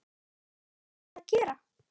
Hvað áttum við að gera?